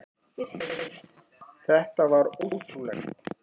Þetta var ótrúlegt.